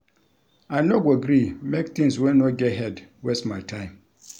I no go gree make tins wey no get head waste my time.